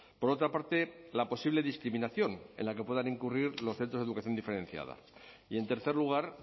por otra parte la posible discriminación en la que puedan incurrir los centros de educación diferenciada y en tercer lugar